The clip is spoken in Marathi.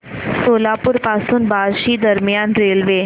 सोलापूर पासून बार्शी दरम्यान रेल्वे